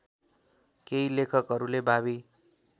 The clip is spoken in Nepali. केही लेखकहरूले भावी